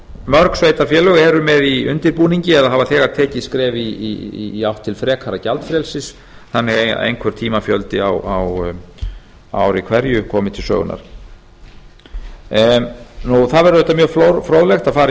mörg sveitarfélög eru með í undirbúningi eða hafa þegar tekið skref í átt til frekara gjaldfrelsis þannig að einhver tímafjöldi á ári hverju komi til sögunnar það væri auðvitað mjög fróðlegt að fara